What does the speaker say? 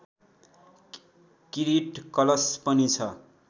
किरीट कलश पनि छ